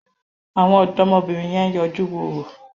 Àwọn ọ̀dọ́mọbìnrin yẹn yọjú wo orò.